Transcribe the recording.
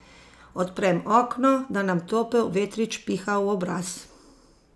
Odprem okno, da nam topel vetrič piha v obraz.